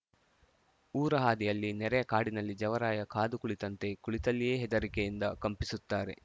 ಊರ ಹಾದಿಯಲ್ಲಿ ನೆರೆಯ ಕಾಡಿನಲ್ಲಿ ಜವರಾಯ ಕಾದು ಕುಳಿತಂತೆ ಕುಳಿತಲ್ಲಿಯೇ ಹೆದರಿಕೆಯಿಂದ ಕಂಪಿಸುತ್ತಾರೆ